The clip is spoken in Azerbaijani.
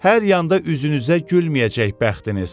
Hər yanda üzünüzə gülməyəcək bəxtiniz.